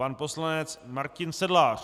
Pan poslanec Martin Sedlář.